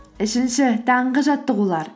үшінші таңғы жаттығулар